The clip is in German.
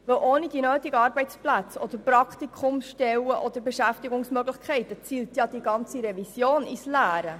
Ohne die nötigen Arbeitsplätze, Praktikumsstellen oder Beschäftigungsmöglichkeiten zielt die gesamte Revision ins Leere.